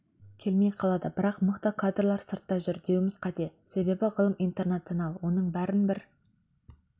келмей қалады бірақ мықты кадрлар сыртта жүр деуіміз қате себебі ғылым интернационал оның бәрін бір